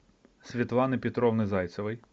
светланы петровны зайцевой